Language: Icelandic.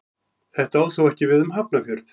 Þetta á þó ekki við um Hafnarfjörð.